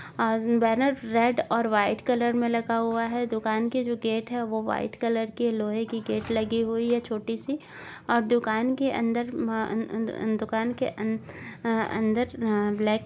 अ banner red और white colour में लगा हुआ हैं दुकान के जो गेट हैं वो वाईट कलर के लोहे की गेट लगी हुई है छोटी सी और दुकान के अंदर अ अ आ आ दुकान के अन्दर अ अन्दर ब्लैक --